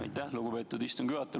Aitäh, lugupeetud istungi juhataja!